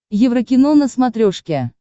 еврокино на смотрешке